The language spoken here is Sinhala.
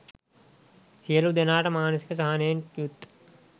සියලු දෙනාට මානසික සහනයෙන් යුත්